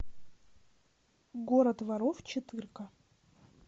город воров четырка